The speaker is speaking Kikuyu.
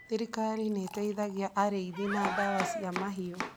Thirikari nĩ ĩteithagia arĩithi na ndawa cia mahiũ.